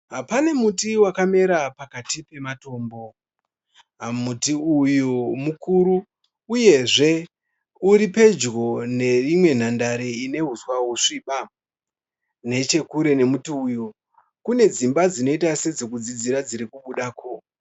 Pane muti wakamera pakati pematombo. Muti uyu mukuru uyezve uripedyo nerimwe nhandare ine huswa husviba. Nechekure nemuti uyu kune dzimba dzinoita sedzekudzidzira dzirikubudako.